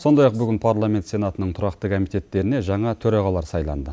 сондай ақ бүгін парламент сенатының тұрақты комитеттеріне жаңа төрағалар сайланды